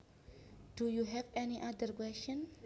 Do you have any other questions